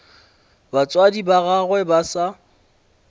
batswadi ba gagwe ba sa